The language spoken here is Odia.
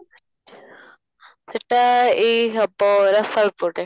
ଏଇଟା ଏଇ ହେବ ରସାଳ ପଟେ